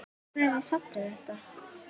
Hvar er safn þetta?